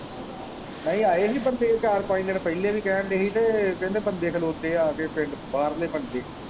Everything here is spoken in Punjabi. ਨਹੀਂ ਆਏ ਹੀ ਬੰਦੇ ਚਾਰ ਪੰਜ ਦਿਨ ਪਹਿਲੇ ਵੀ ਕਹਿਣ ਦੇ ਹੀ ਤੇ ਕਹਿੰਦੇ ਬੰਦੇ ਖਲੋਤੇ ਹੈ ਆ ਕੇ ਪਿੰਡ ਬਾਹਰਲੇ ਬੰਦੇ।